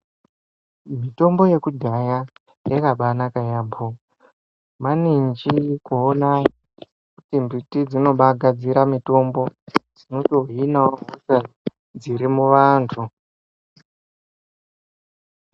Mitombo yekudhaya yakabanaka yambo. Maninji kuona kuti mbiti dzinobagadzire mitombo dzinotohinawo hosha dzimuvantu.